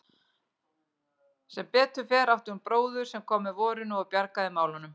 Sem betur fer átti hún bróður sem kom með vorinu og bjargaði málunum.